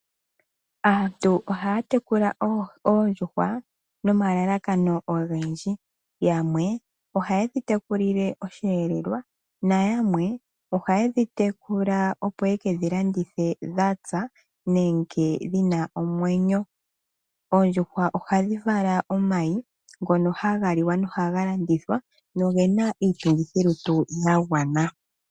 Aantu ohaya tekula oondjuhwa nomalalakano ogendji yamwe ohaye dhi tekulile oshelelwa, nayamwe ohaye dhi tekula opo ye kedhi landithe dhatsa nenge dhina omwenyo. Oondjuhwa ohadhi vala omayi ngono haga liwa nohaga landitha nogena iitungithilutu ya gwana.